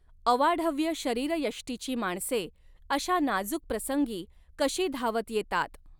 अवाढव्य शरीर यष्टीची माणसे अशा नाजुक प्रसंगी कशी धावत येतात